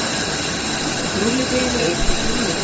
Rúllið deiginu upp eins og rúllutertu.